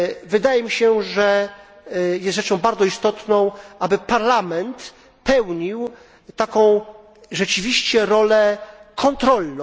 Wydaje mi się, że jest rzeczą bardzo istotną, aby Parlament pełnił taką rzeczywiście rolę kontrolną.